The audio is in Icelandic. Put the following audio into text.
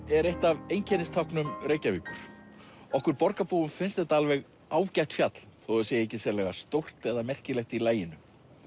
er eitt af einkennistáknum Reykjavíkur okkur borgarbúum finnst þetta alveg ágætt fjall þó það sé ekki sérlega stórt eða merkilegt í laginu